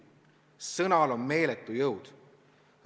Sõnal on meeletu jõud.